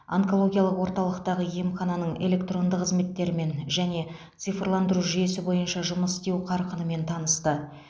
онкологиялық орталықтағы емхананың электронды қызметтерімен және цифрландыру жүйесі бойынша жұмыс істеу қарқынымен танысты